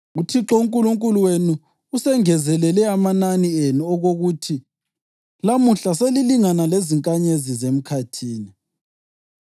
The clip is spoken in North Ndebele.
UThixo uNkulunkulu wenu usengezelele amanani enu okokuthi lamuhla selilingana lezinkanyezi zemkhathini.